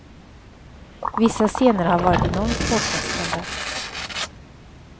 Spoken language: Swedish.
Vissa scener har varit enormt påfrestande.